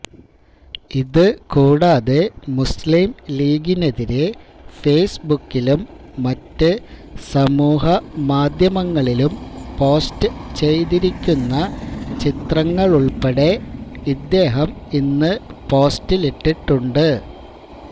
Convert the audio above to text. ഇത് കൂടാതെ മുസ്ലിം ലീഗിനെതിരെ ഫേസ്ബുക്കിലും മറ്റ് സമൂഹമാധ്യമങ്ങളിലും പോസ്റ്റ് ചെയ്തിരിക്കുന്ന ചിത്രങ്ങളുള്പ്പെടെ ഇദ്ദേഹം ഇന്ന് പോസ്റ്റിലിട്ടുണ്ട്